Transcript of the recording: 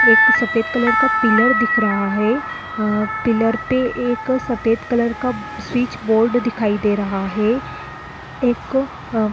एक तो सफ़ेद कलर का पिलर दिख रहा है। अ पिलर पे एक सफ़ेद कलर का स्विच बोर्ड दिखाई दे रहा है। एक अ--